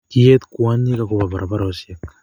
kiet kwonyik ak koba barabarosiek